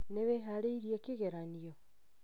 Nĩ wĩharĩirie kĩgeranio?